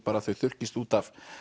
þau þurrkist út